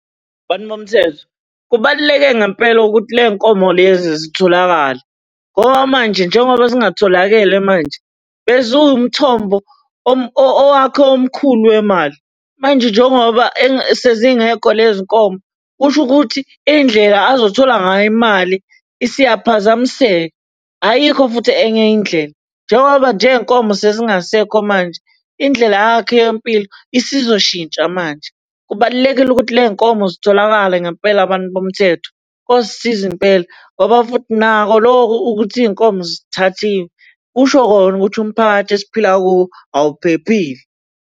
Bantu bomthetho, kubaluleke ngempela ukuthi le y'nkomo lezi zitholakale, ngoba manje, njengoba zingatholakele manje, beziwumthombo owakhe omkhulu wemali. Manje njengoba sezingekho lezi nkomo kusho ukuthi indlela azothola ngayo imali, isiyaphazamiseka. Ayikho futhi enye indlela, njengoba nje iy'nkomo sezingasekho manje, indlela yakhe yempilo isizoshintsha manje. Kubalulekile ukuthi le y'nkomo zitholakale ngempela bantu bomthetho. Kosisiza impela, ngoba futhi nakho lokhu ukuthi iy'nkomo zithathiwe, kusho kona ukuthi umphakathi esiphila kuwo awuphephile.